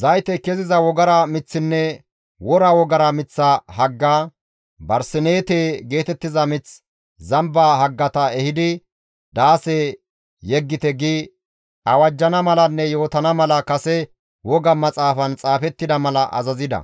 zaytey keziza wogara miththinne wora wogara miththa hagga, barsineete geetettiza mith, zamba haggata ehidi daase yeggite» gi awajjana malanne yootana mala kase woga maxaafan xaafettida mala azazida.